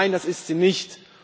Nein, das ist sie nicht.